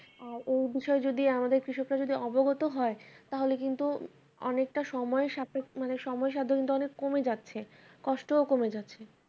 আহ এই বিষয় যদি আমাদের কৃষকরা যদি অবগত হয় তাহলে কিন্তু অনেকটা সময় মানে সময় সাধ্য কিন্তু অনেক কমে যাচ্ছে কষ্টও কমে যাচ্ছে